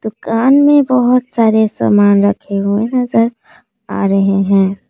दुकान में बहुत सारे समान रखे हुए नजर आ रहे हैं।